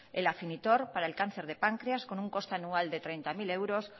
el afinitor para el cáncer de páncreas con un coste anual de treinta mil euros